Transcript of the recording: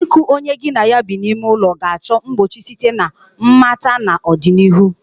iku onye gi na ya bi n'ime ụlọ ga-achọ mgbochi site na mmata n'ọdịnihu.